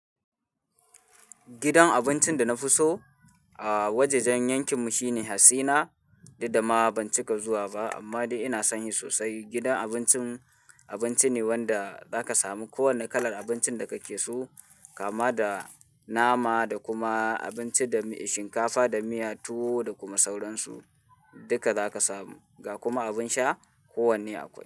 Gidan abincin da na fi so a wajajen yankin mu shine Hassina, duk dama ban cika zuwa ba ammadai ina son shi sosai. Gidan abincin, abinci ne wanda zaka samu ko wanne kalar abincin da kake so kama da nama da kuma abinci da shinkafa da miya tuwo da kuma sauransu duka zaka samu ga kuma abin sha kowanne akwai.